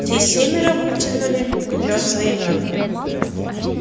все семеро вытянули вперёд свои мётлы